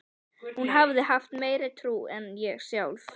Hún hafði haft meiri trú en ég sjálf.